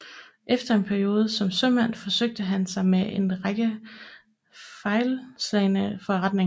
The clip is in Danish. Efter en periode som sømand forsøgte han sig med en række fejlslagne forretninger